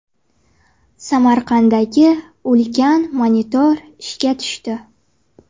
Samarqanddagi ulkan monitor ishga tushdi.